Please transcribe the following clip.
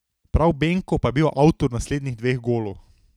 Prav Benko pa je bil avtor naslednjih dveh golov.